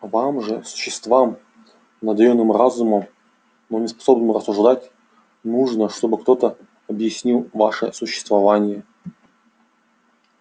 вам же существам наделённым разумом но не способным рассуждать нужно чтобы кто-то объяснил ваше существование